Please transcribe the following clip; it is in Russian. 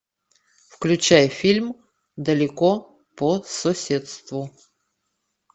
включай фильм далеко по соседству